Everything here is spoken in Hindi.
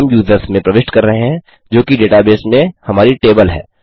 और हम यूजर्स में प्रविष्ट कर रहे हैं जोकि डेटाबेस में हमारी टेबल है